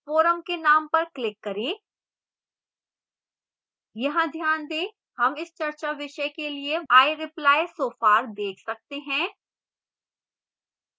forum के name पर click करें यहां ध्यान दें हम इस चर्चा विषय के लिए i reply so far देख सकते हैं